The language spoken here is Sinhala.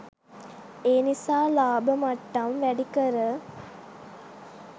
එනිසා ලාභ මට්ටම් වැඩිකර